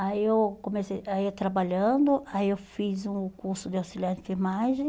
Aí eu comecei a ir trabalhando, aí eu fiz um curso de auxiliar de enfermagem.